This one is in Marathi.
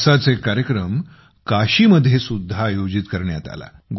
असाच एक कार्यक्रम काशीमध्ये सुद्धा आयोजित करण्यात आला